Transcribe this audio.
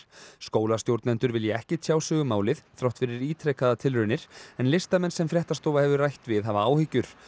skólastjórnendur vilja ekki tjá sig um málið þrátt fyrir ítrekaðar tilraunir en listamenn sem fréttastofa hefur rætt við hafa áhyggjur